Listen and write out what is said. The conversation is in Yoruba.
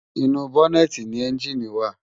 Inú bònètí ni ènjiní wá